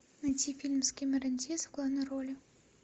найти фильм с кэмерон диаз в главной роли